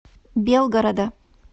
белгорода